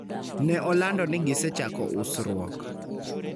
ne olando ni gisechako usruok